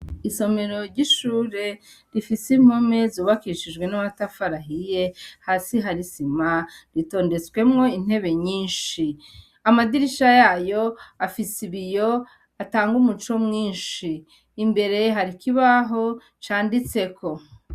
Isomero ry'ishure, rifise impome zubakishijwe n'amatafari ahiye, hasi hari isima, ritondetsemwo intebe nyinshi. Amadirisha yayo, afise ibiyo, atanga umuco mwinshi. Imbere hari ikibaho canditseko.